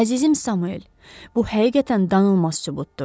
Əzizim Samuel, bu həqiqətən danılmaz sübutdur.